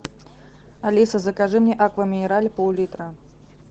алиса закажи мне аква минерале пол литра